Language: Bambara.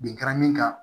Bin kɛra min kan